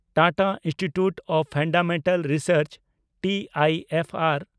Tata institute of fundamental research (TIFR)